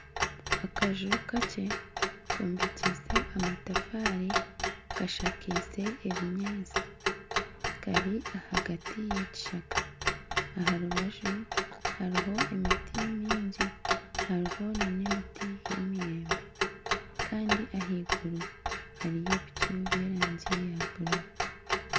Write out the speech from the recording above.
Akaju kakye kombekyeise amatafaari kashakaize ebinyaatsi kari ahagati y'ekishaka. Aha rubaju hariho emiti mingi, hariho nana emiti y'emiyembe kandi ahaiguru hariyo ebicu by'erangi ya bururu.